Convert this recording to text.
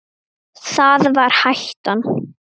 Það var hættan.